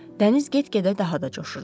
Dəniz get-gedə daha da coşurdu.